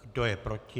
Kdo je proti?